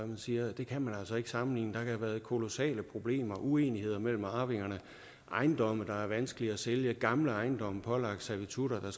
man siger det kan man altså ikke sammenligne der kan have været kolossale problemer og uenigheder mellem arvingerne ejendomme der har været vanskelige at sælge gamle ejendomme pålagt servitutter der